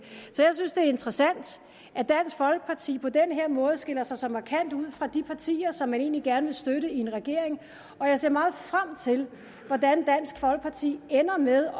er interessant at dansk folkeparti på den her måde skiller sig så markant ud fra de partier som man egentlig gerne vil støtte i en regering og jeg ser meget frem til hvordan dansk folkeparti ender med